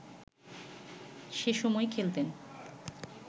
সেসময় খেলতেন